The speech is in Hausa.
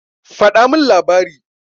Faɗa min labari.